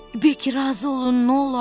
Bekki razı olun, nə olar?